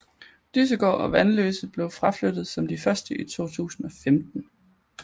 Dyssegård og Vanløse blev fraflyttet som de første i 2015